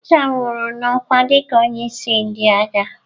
Abacha nwụrụ n'ọkwa dịka onye isi ndị agha.